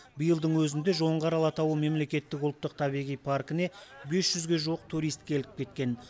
биылдың өзінде жоңғар алатауы мемлекеттік ұлттық табиғи паркіне бес жүзге жуық турист келіп кеткен